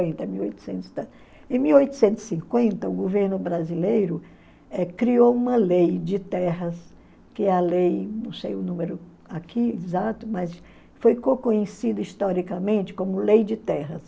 Em mil oitocentos e cinquenta, o governo brasileiro eh criou uma lei de terras, que é a lei, não sei o número aqui exato, mas conhecida historicamente como lei de terras.